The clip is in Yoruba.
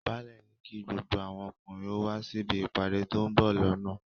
Báálẹ̀ ní kí gbogbo àwọn ọkùnrin ó wá síbi ìpàdé tó ń bọ̀ lọ́nà